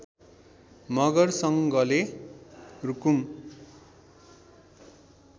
मगर सङ्घले रुकुम